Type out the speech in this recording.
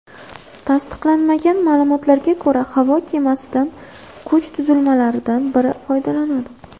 Tasdiqlanmagan ma’lumotlarga ko‘ra, havo kemasidan kuch tuzilmalaridan biri foydalanadi.